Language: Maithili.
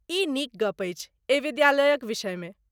ई नीक गप्प अछि एहि विद्यालयक विषयमे।